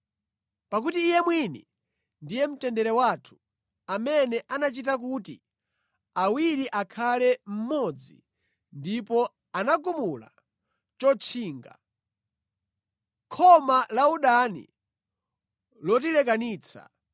Pakuti Iye mwini ndiye mtendere wathu, amene anachita kuti awiri akhale mmodzi ndipo anagumula chotchinga, khoma la udani lotilekanitsa,